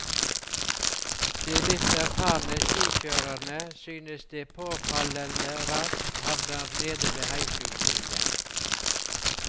De litt erfarne skikjørerne synes de påfallende raskt havner nede ved heishuset igjen.